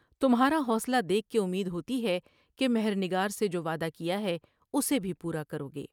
تمھا را حوصلہ دیکھ کے امید ہوتی ہے کہ مہر نگار سے جو وعدہ کیا ہے اسے بھی پورا کرو گے ۔